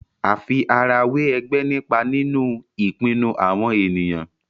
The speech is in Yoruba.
àfi ara wẹ ègbé nípa nínú ìpinnu àwọn ènìyàn